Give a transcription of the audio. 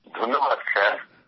ধন্যবাদ স্যার